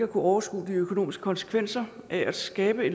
overskue de økonomiske konsekvenser af at skabe